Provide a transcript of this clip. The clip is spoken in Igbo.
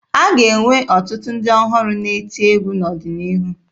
A ga-enwe ọtụtụ ndị ọhụrụ na-eti egwu n'ọdịnihu